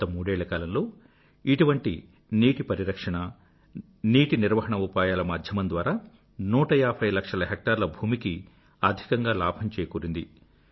గత మూడేళ్ల కాలంలో ఇటువంటి నీటి పరిరక్షణ నీటి నిర్వాహణ ఉపాయాల మాధ్యమం ద్వారా 150 లక్షల హెక్టార్ల భూమికి అధికంగా లాభం చేకూరింది